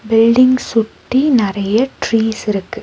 Building சுத்தி நறைய trees இருக்கு.